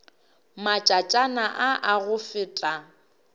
matšatšana a a go feta